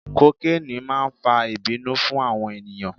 Kokeni máa ń fa ìbínú fún àwọn ènìyàn.